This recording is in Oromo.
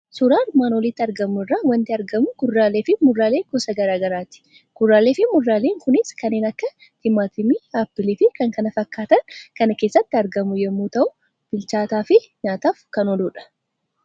Suuraa armaan olitti argamu irraa waanti argamu kuduraaleefi muduraalee gosa garaagaraati. Kuduraaleefi muduraalee kunis kanneen akka Timaatimii, Appiliifi kan kana fakkaatan kan keessatti argamu yommuu ta'u, bilchaataafi nyaataaf ka ooludha.